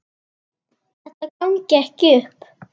Þetta gangi ekki upp.